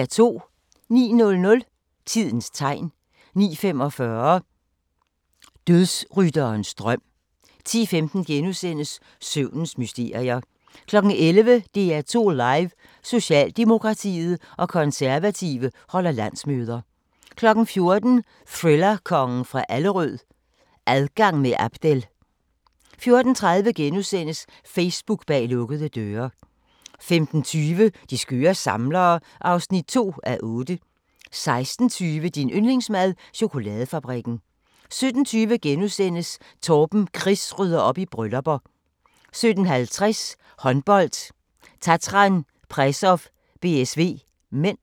09:00: Tidens tegn 09:45: Dødsrytterens drøm 10:15: Søvnens mysterier * 11:00: DR2 Live: Socialdemokratiet og Konservative holder landsmøder 14:00: Thriller-kongen fra Allerød – Adgang med Abdel 14:30: Facebook bag lukkede døre * 15:20: De skøre samlere (2:8) 16:20: Din yndlingsmad: Chokoladefabrikken 17:20: Torben Chris rydder op i bryllupper * 17:50: Håndbold: Tatran Presov-BSV (m)